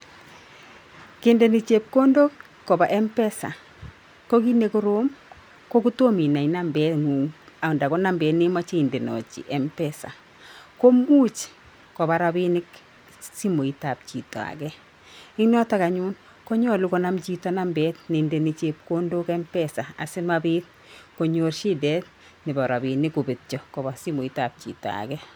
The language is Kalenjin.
Kendeni chepkondok kopa m-pesa ko kit nekorom ko kotomoinai namet ng'ung anda ko nambet nemachei indanaji m-pesa komuch kopa rabinik simooitab chito age. En yoto anyun konyalu konam chito namet neindeni chepkondok m-pesa. Asimabiit konyor shidet nebo robinik kobetyo kopa simooitab chito age